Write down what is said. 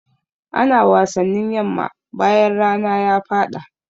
Ana wasannin yamma bayan rana ya faɗa.